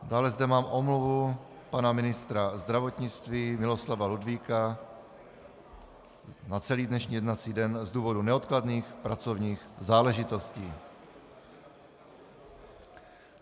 Dále zde mám omluvu pana ministra zdravotnictví Miloslava Ludvíka na celý dnešní jednací den z důvodu neodkladných pracovních záležitostí.